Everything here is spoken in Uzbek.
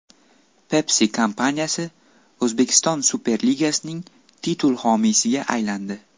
Pepsi kompaniyasi O‘zbekiston Superligasining titul homiysiga aylandi.